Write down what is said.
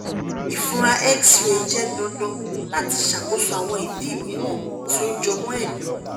ifunra x-ray jẹ dandan lati ṣakoso awọn idi miiran ti o jọmọ ẹdọ